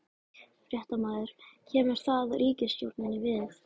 Fréttamaður: Kemur það ríkisstjórninni við?